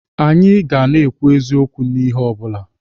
Anyị ga na-ekwu eziokwu n'ihe ọbụla.